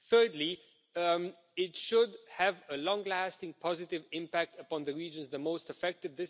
Thirdly, it should have a long lasting positive impact upon the regions the most affected.